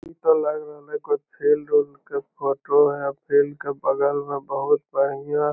इ ते लाग रहले हई कोय फील्ड ऊल्ड के फोटो हई फील्ड के बगल में बहुत बढ़िया --